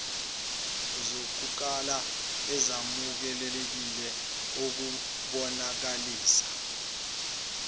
zokukala ezamukelekile ukubonakalisa